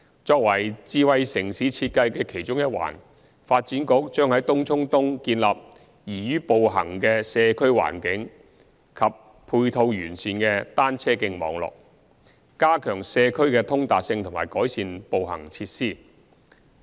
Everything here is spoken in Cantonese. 作為智慧城市設計的其中一環，發展局將在東涌東建立宜於步行的社區環境及配套完善的單車徑網絡，加強社區的通達性和改善步行設施。